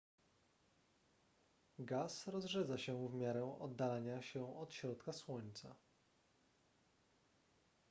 gaz rozrzedza się w miarę oddalania się od środka słońca